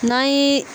N'an ye